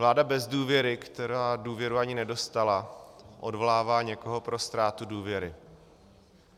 Vláda bez důvěry, která důvěru ani nedostala, odvolává někoho pro ztrátu důvěry.